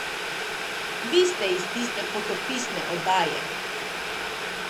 Vi ste iz tiste potopisne oddaje!